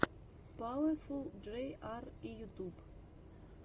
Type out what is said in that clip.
пауэфул джей ар и ютуб